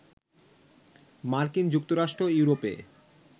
মার্কিন যুক্তরাষ্ট্র, ইউরোপে